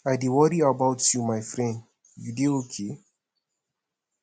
i dey worry about you my friend you dey okay